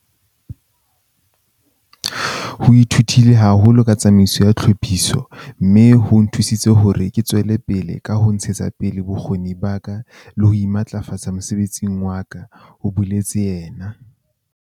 "Ho nthutile haholo ka tsamaiso ya tlhophiso mme ho nthusitse hore ke tswele pele ka ho ntshetsa pele bokgoni ba ka le ho imatlafatsa mosebetsing wa ka," ho boletse yena.